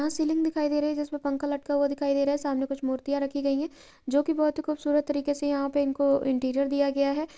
यहा सीलिंग दिखाई दे रही है जिसपे पंखा लटका हुआ दिखाई दे रहा है सामने कुछ मूर्तियाँ रखी गई हैं जो कि बहुत ही खूबसूरत तरीके से यहा पे इनको इंटीरियर दिया गया है।